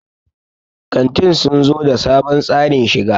kantin sun zo da sabon tsarin shiga